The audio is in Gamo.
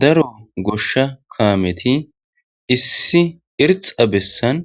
daro goshsha kaameti issi irxa bessan